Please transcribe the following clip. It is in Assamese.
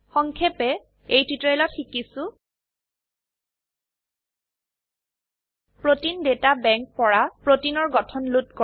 সংক্ষেপে এই টিউটোৰিয়েলত শিকিছো প্ৰতেইন ডাটা বেংক পৰা প্ৰোটিনৰ গঠন লোড কৰা